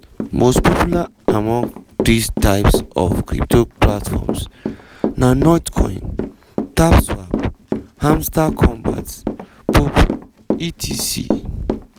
most popular among dis types of crypto platforms na notcoin tapswap hamstar kombat poppo etc.